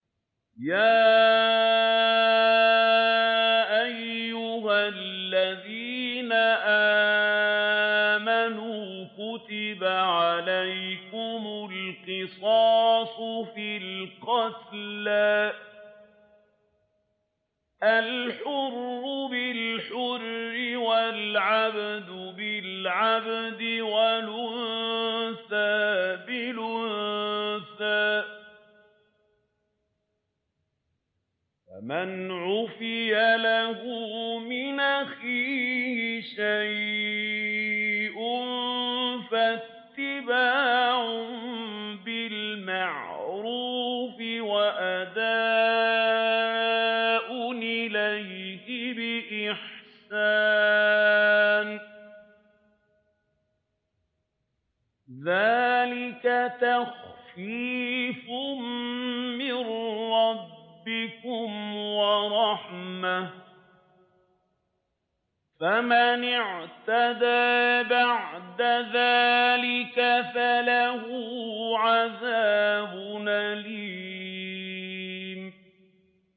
يَا أَيُّهَا الَّذِينَ آمَنُوا كُتِبَ عَلَيْكُمُ الْقِصَاصُ فِي الْقَتْلَى ۖ الْحُرُّ بِالْحُرِّ وَالْعَبْدُ بِالْعَبْدِ وَالْأُنثَىٰ بِالْأُنثَىٰ ۚ فَمَنْ عُفِيَ لَهُ مِنْ أَخِيهِ شَيْءٌ فَاتِّبَاعٌ بِالْمَعْرُوفِ وَأَدَاءٌ إِلَيْهِ بِإِحْسَانٍ ۗ ذَٰلِكَ تَخْفِيفٌ مِّن رَّبِّكُمْ وَرَحْمَةٌ ۗ فَمَنِ اعْتَدَىٰ بَعْدَ ذَٰلِكَ فَلَهُ عَذَابٌ أَلِيمٌ